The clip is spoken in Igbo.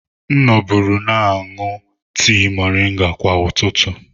M noburu aṅụ tii moringa kwa ụtụtụ.